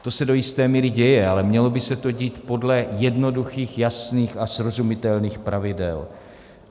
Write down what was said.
To se do jisté míry děje, ale mělo by se to dít podle jednoduchých, jasných a srozumitelných pravidel.